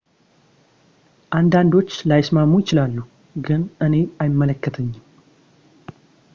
አንዳንዶች ላይስማሙ ይችላሉ ግን እኔ አይመለከተኝም